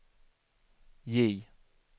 J